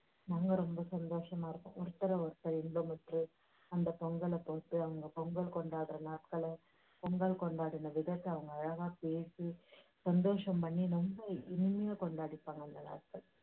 ரொம்ப சந்தோஷமா இருக்கும். ஒருத்தரை ஒருத்தர் இன்பமுற்று அந்த பொங்கலை தொட்டு அவங்க பொங்கல் கொண்டாடுற நாட்களை, பொங்கல் கொண்டாடின விதத்தை அவங்க அழகாய் பேசி சந்தோஷம் பண்ணி ரொம்ப இனிமையா கொண்டாடிப்பாங்க அந்த நாட்களை